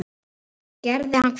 Gerði hann hvað?